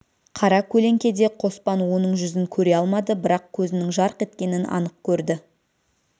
қара көлеңкеде қоспан оның жүзін көре алмады бірақ көзінің жарқ еткенін анық көрді